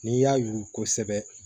N'i y'a yugusɛ